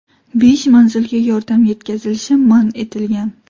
Besh manzilga yordam yetkazilishi man etilgan.